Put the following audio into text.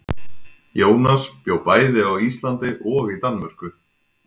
Jónas bjó bæði á Íslandi og í Danmörku.